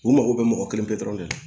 U mago bɛ mɔgɔ kelen dɔrɔn de la